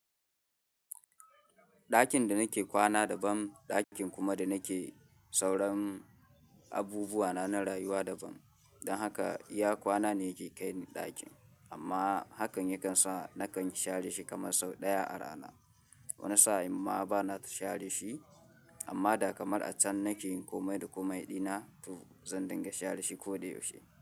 Dakin da nake kwana daban, dakin kuma da nake sauran abubuwa na na rayuwa daban. Don haka iya kwana ne yake kai ni ɗakin, amma hakan yakan sa nakan share shi kaman sau ɗaya a rana. Wani sa'in ma bana share shi, amma da kamar a can nake yin komai da komai dina, to zan dinga share shi ko da yaushe.